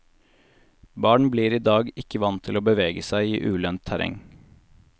Barn blir i dag ikke vant til å bevege seg i ulendt terreng.